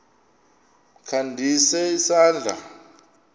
kha ndise isandla